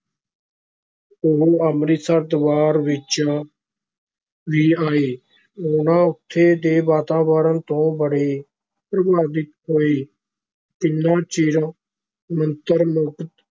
ਉਹ ਅੰਮ੍ਰਿਤਸਰ ਦਰਬਾਰ ਵਿੱਚ ਵੀ ਆਏ, ਉਹ ਇਥੋਂ ਦੇ ਵਾਤਾਵਰਨ ਤੋਂ ਬੜੇ ਪ੍ਰਭਾਵਿਤ ਹੋਏ, ਕਿੰਨਾ ਚਿਰ ਮੰਤਰ ਮੁਗਧ